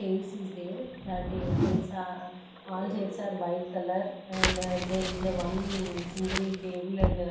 A_C is there that chairs are a all shades are white colour and there is a one single table and --